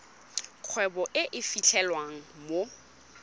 kgwebo e e fitlhelwang mo